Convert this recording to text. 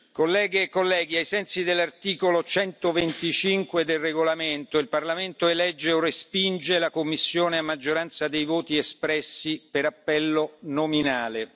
Colleghe e colleghi, ai sensi dell'articolo 125 del regolamento, il Parlamento elegge o respinge la Commissione a maggioranza dei voti espressi per appello nominale.